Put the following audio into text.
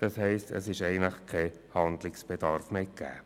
Das heisst, es ist eigentlich kein Handlungsbedarf mehr gegeben.